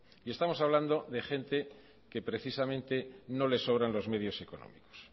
y estamos hablando de gente que precisamente no les sobran los medios económicos